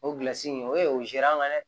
O in o ye o dɛ